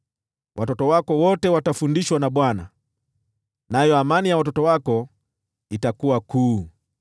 Watoto wako wote watafundishwa na Bwana , nayo amani ya watoto wako itakuwa kuu.